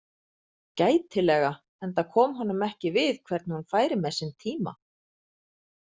Gætilega, enda kom honum ekki við hvernig hún færi með sinn síma.